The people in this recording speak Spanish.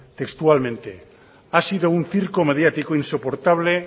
textualmente ha sido un circo mediático insoportable